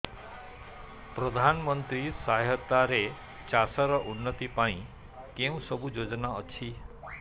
ପ୍ରଧାନମନ୍ତ୍ରୀ ସହାୟତା ରେ ଚାଷ ର ଉନ୍ନତି ପାଇଁ କେଉଁ ସବୁ ଯୋଜନା ଅଛି